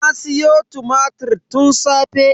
Na siyo tumatir tun safe.